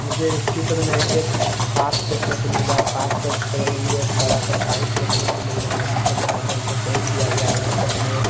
मुझे इस चित्र में एक पार्क देखने को मिल रहा है पार्क के बगल में मुझे एक बड़ा सा पाइप देखने को मिल रहा है जिसे लाल रंग से पेंट किया गया है वहीं पर हमें--